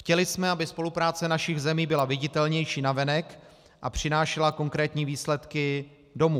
Chtěli jsme, aby spolupráce našich zemí byla viditelnější navenek a přinášela konkrétní výsledky domů.